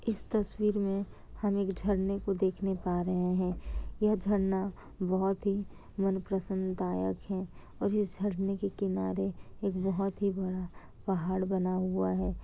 इस तस्वीर में हम एक झरने को देखने पा रहे हैं यह झरना बहुत ही मन प्रसन्न दायक है और इस झरने के किनारे एक बहुत ही बड़ा पहाड़ बना हुआ है।